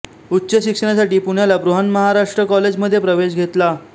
उच्च शिक्षणासाठी पुण्याला बृहन्महाराष्ट्र कॉलेज मध्ये प्रवेश घेतला